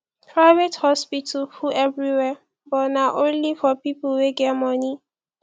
private hospital full everywhere but na only for pipo wey get moni